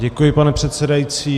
Děkuji, pane předsedající.